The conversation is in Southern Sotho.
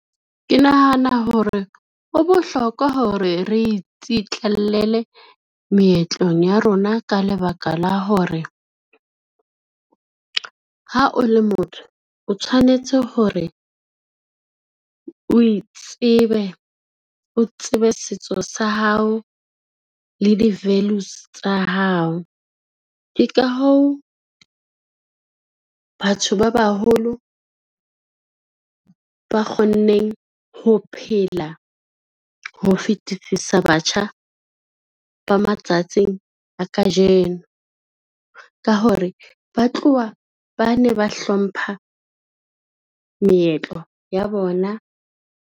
Ke nahana hore ho bohlokwa hore re itsitlallela meetlong ya rona ka lebaka la hore, ha o le motho o tshwanetse hore o itsebe, o tsebe setso sa hao le di-values tsa hao. Ke ka hoo, batho ba baholo ba kgonneng ho phela ho fetisisa batjha ba matsatsing a kajeno, ka hore ba tloha ba ne ba hlompha meetlo ya bona.